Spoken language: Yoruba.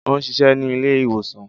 O ń ṣiṣẹ ni ile-iwosan